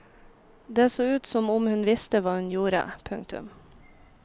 Det så ut som om hun visste hva hun gjorde. punktum